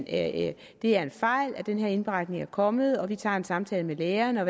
at det er en fejl at den her indberetning er kommet og at man tager en samtale med lægerne